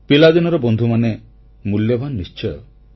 ପିଲାଦିନର ବନ୍ଧୁମାନେ ମୂଲ୍ୟବାନ ନିଶ୍ଚୟ